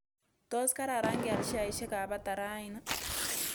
Tos' kararan kial sheaisiekap bata raini